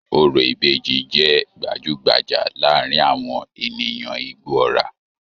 Orò ìbejì jẹ́ gbajú-gbajà láàárín àwọn ènìyàn Igbóọrà